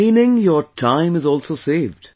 Meaning, your time is also saved